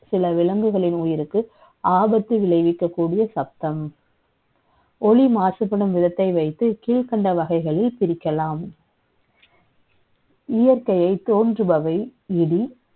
. சில விலங்குகளின் உயிருக்கு, ஆபத்து விளை விக்கக் கூடிய சத்தம். ஒலி மாசுபடும் விதத்தை வை த்து, கீழ்க்கண்ட வகை களில் பிரிக்கலாம் இயற்கை யை த ோன்றுபவை இடி,